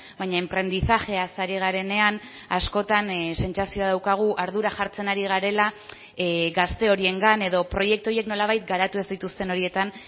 baina enprendizajeaz ari garenean askotan sentsazioa daukagu ardura jartzen ari garela gazte horiengan edo proiektu horiek nolabait garatu ez dituzten horietan